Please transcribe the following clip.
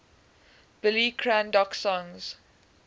billy craddock songs